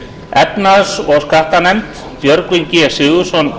efnahags og skattanefnd formaður björgvin g sigurðsson